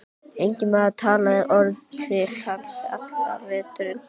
Enginn maður talaði orð til hans allan veturinn.